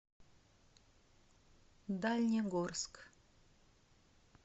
дальнегорск